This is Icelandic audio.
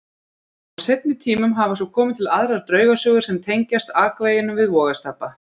Á seinni tímum hafa svo komið til aðrar draugasögur sem tengjast akveginum við Vogastapa.